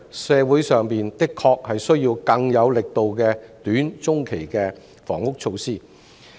社會上的確需要更有力度的短、中期房屋措施。